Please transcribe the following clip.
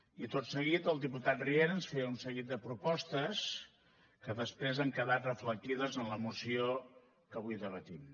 i tot seguit el diputat riera ens feia un seguit de propostes que després han quedat reflectides en la moció que avui debatem